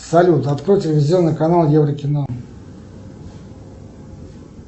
салют открой телевизионный канал еврокино